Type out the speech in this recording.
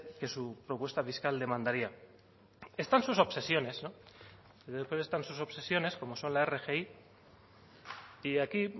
que su propuesta fiscal demandaría están sus obsesiones y después están sus obsesiones como son la rgi y aquí